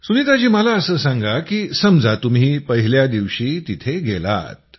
सुनीताजी मला असं सांगा की समजा तुम्ही पहिल्या दिवशी तिथे गेलात